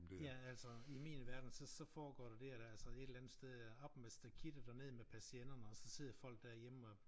Ja altså i min verden så så foregår der det er der altså et eller andet sted er op med stakittet og ned med persiennerne og så sidder folk derhjemme og